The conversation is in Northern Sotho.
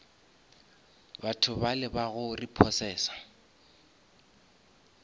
batho bale ba go repossesa